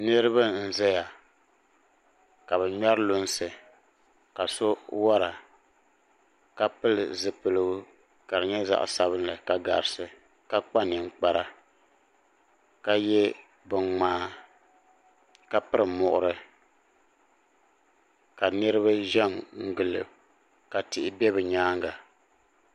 niraba n ʒɛya ka bi ŋmɛri lunsi ka so wora ka pili zipiligu ka di nyɛ zaɣ sabinli garisi ka kpa ninkpara ka yɛ bin ŋmaa ka piri muɣuri ka niraba ʒɛ n gili o ka tihi ʒɛ bi nyaanga